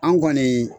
An kɔni